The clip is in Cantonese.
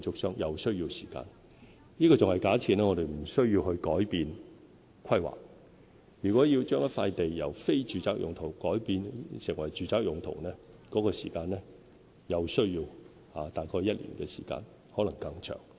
上述時間還假設我們無須改變規劃，如果要把一塊土地由"非住宅用途"改變為"住宅用途"，又需要大概1年時間，可能更長。